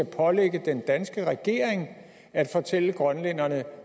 pålægge den danske regering at fortælle grønlænderne